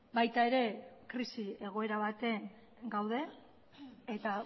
baita ere krisi egoera batean gaude eta